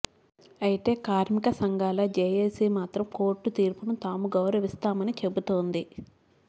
అయితే కార్మిక సంఘాల జేఏసీ మాత్రం కోర్టు తీర్పును తాము గౌరవిస్తామని చెబుతోంది